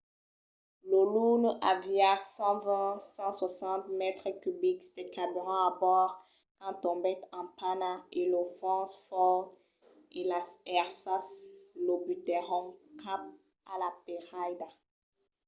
lo luno aviá 120-160 mètres cubics de carburant a bòrd quand tombèt en pana e los vents fòrt e las èrsas lo butèron cap a la peirada